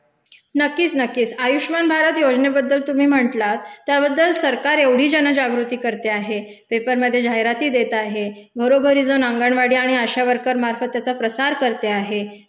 नक्कीच, नक्कीच. आयुष्मान भारत योजनेबद्दल तुम्ही म्हंटलात त्याबद्ल सरकार एवढी जनजागृती करते आहे, पेपरमधे जाहिराती देत आहे, घरोघरी जाऊन अगंणवाडी आणि आशा वर्कर मार्फत त्याचा प्रसार करते आहे,